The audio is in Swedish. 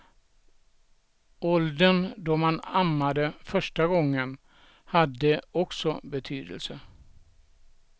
Åldern då man ammade första gången hade också betydelse.